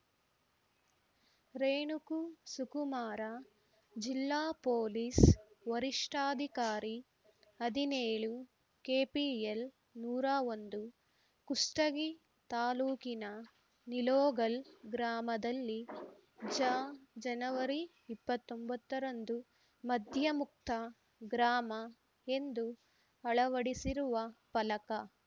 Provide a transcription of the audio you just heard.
ರೇಣುಕು ಸುಕುಮಾರ ಜಿಲ್ಲಾ ಪೊಲೀಸ್‌ ವರಿಷ್ಠಾಧಿಕಾರಿ ಹದಿನೇಳು ಕೆಪಿಎಲ್‌ ನೂರಾ ಒಂದು ಕುಷ್ಟಗಿ ತಾಲೂಕಿನ ನಿಲೋಗಲ್‌ ಗ್ರಾಮದಲ್ಲಿ ಜ ಜನವರಿ ಇಪ್ಪತ್ತೊಂಬತ್ತರಂದು ಮದ್ಯಮುಕ್ತ ಗ್ರಾಮ ಎಂದು ಅಳವಡಿಸಿರುವ ಫಲಕ